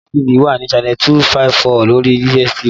STV wà ní channel 254 lórí DSTV